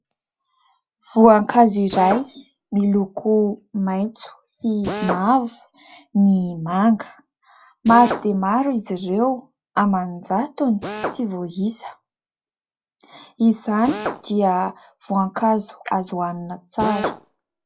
Voninkazo iray miloko maitso sy mavo, ny manga. Maro dia maro izy ireo, aman-jatony tsy voaisa, izany dia voankazo azo ho hanina tsara.